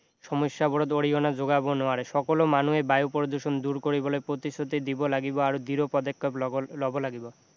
সমস্যাবোৰত অৰিহণা যোগাব নোৱাৰে সকলো মানুহে বায়ু প্ৰদূষণ দূৰ কৰিবলৈ প্ৰতিশ্ৰুতি দিব লাগিব আৰু দৃহ পদক্ষেপ লব লাগিব